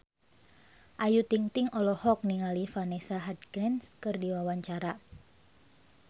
Ayu Ting-ting olohok ningali Vanessa Hudgens keur diwawancara